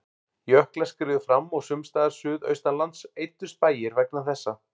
Jöklar skriðu fram og sums staðar suðaustanlands eyddust bæir vegna þessa.